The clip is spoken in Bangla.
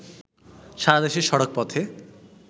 সারাদেশে সড়কপথে